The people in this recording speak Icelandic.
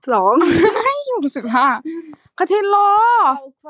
Vigfús, hvenær kemur vagn númer tuttugu og fimm?